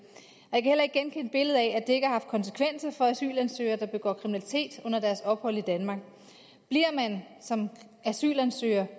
heller ikke genkende billedet af at det ikke har haft konsekvenser for asylansøgere der begår kriminalitet under deres ophold i danmark bliver man som asylansøger